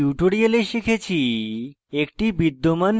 in tutorial শিখেছি